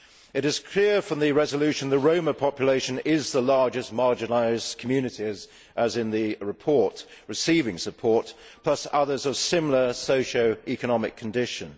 It is clear from the resolution that the Roma population is the largest marginalised community in the report receiving support, plus others of similar socio economic condition.